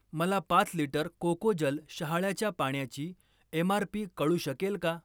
मला पाच लिटर कोकोजल शहाळ्याच्या पाण्याची एम.आर.पी. कळू शकेल का?